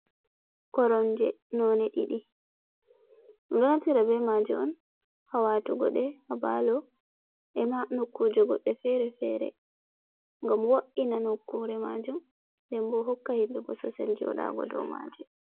Koromje none ɗiɗi. Ɗumɗo naftira be maje on ha watugo ɗe ha palo, ema nokkuje goɗɗe fere fere ngam wo, iina nokkuje majum. Nden bo hokka himɓe bososel joɗago dow maje.